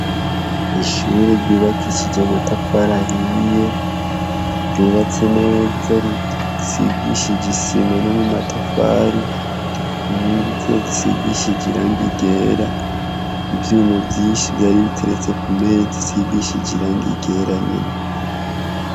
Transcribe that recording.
Ishure ryubakishijwe amatafari ahiye ryubatse neza risigishije isima no mumatafari risigishije irangi ryera ivyuma vyinshi vyari biteretse kuntebe bisigishije irangi ryera nyene.